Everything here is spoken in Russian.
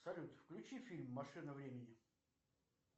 салют включи фильм машина времени